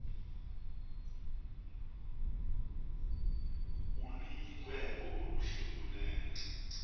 oluyinkwenkwe oluhle kunene